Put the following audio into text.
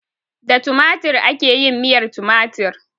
Da tumatir ake yin miyar tumatir.